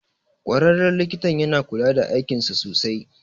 Ƙwararren likitan yana kula da aikinsa sosai